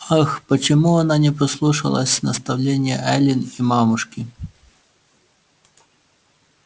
ах почему она не послушалась наставлении эллин и мамушки